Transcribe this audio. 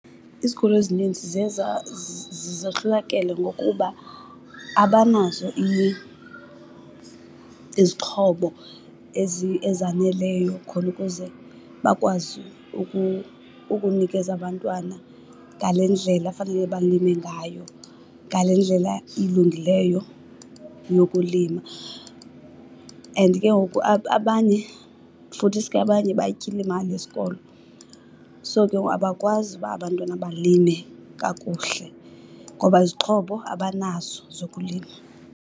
Izikolo ezininzi ziye zohlulakele ngokuba abanazo izixhobo ezaneleyo khona ukuze bakwazi ukunikeza abantwana ngale ndlela fanele balime ngayo, ngale ndlela ilungileyo yokulima. And ke ngoku abanye futhisi ke abanye bayityile imali yesikolo, so ke ngoku abakwazi uba abantwana balime kakuhle ngoba izixhobo abanazo zokulima.